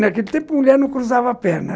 Naquele tempo, mulher não cruzava a perna.